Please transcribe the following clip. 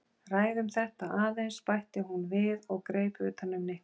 Ræðum þetta aðeins bætti hún við og greip utan um Nikka.